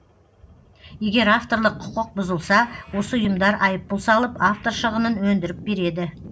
егер авторлық құқық бұзылса осы ұйымдар айыппұл салып автор шығынын өндіріп береді